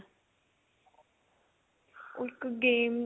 ਉਹ ਇੱਕ game